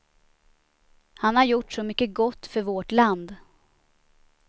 Han har gjort så mycket gott för vårt land.